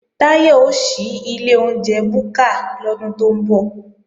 Táyọ̀ ó ṣí ilé oúnjẹ búkà lọ́dún tó ń bọ̀